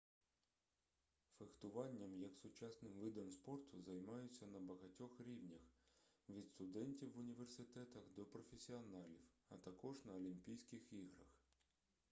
фехтуванням як сучасним видом спорту займаються на багатьох рівнях від студентів в університетах до професіоналів а також на олімпійських іграх